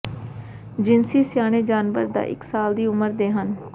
ਜਿਨਸੀ ਸਿਆਣੇ ਜਾਨਵਰ ਦਾ ਇੱਕ ਸਾਲ ਦੀ ਉਮਰ ਦੇ ਹਨ